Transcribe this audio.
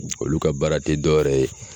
Olu ka baara te dɔwɛrɛ ye